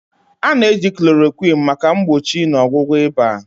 A na-eji Chloroquine maka mgbochi na ọgwụgwọ ịba.